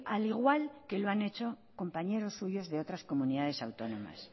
al igual que lo han hecho compañeros suyos de otras comunidades autónomas